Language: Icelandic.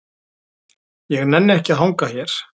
Ég nenni ekki að hanga hér.